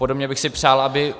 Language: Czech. Podobně bych si přál, aby -